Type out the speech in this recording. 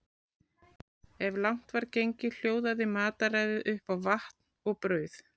Ef langt var gengið hljóðaði mataræðið upp á vatn og brauð.